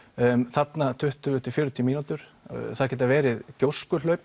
þarna tuttugu fjörutíu mínútur það geta verið